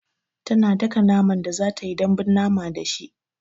Tana daka naman da zatayi dambun mama da shi